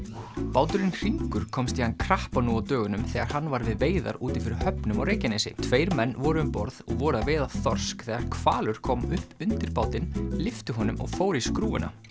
báturinn Hringur komst í hann krappan nú á dögunum þegar hann var við veiðar úti fyrir höfnum á Reykjanesi tveir menn voru um borð og voru að veiða þorsk þegar hvalur kom upp undir bátinn lyfti honum og fór í skrúfuna